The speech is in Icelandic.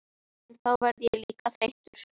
En þá verð ég líka þreyttur.